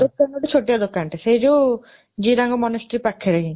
ଗୋଟିଏ ଛୋଟିଆ ଦୋକାନଟେ ସେଇ ଯୋଉ ଜିରାଙ୍ଗ monastery ପାଖରେ ହିଁ